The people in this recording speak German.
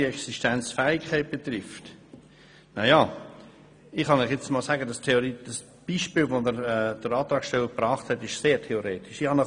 Was die Existenzfähigkeit betrifft, naja, ich kann Ihnen sagen, dass das vom Antragsteller gebrachte Beispiel sehr theoretisch ist.